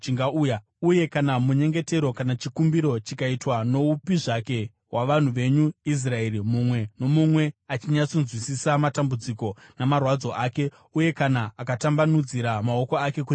uye kana munyengetero kana chikumbiro chikaitwa noupi zvake wavanhu venyu Israeri, mumwe nomumwe achinyatsonzwisisa matambudziko namarwadzo ake, uye kana akatambanudzira maoko ake kunzvimbo ino,